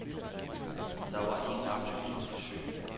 Der var ingen aktuelle forsøg.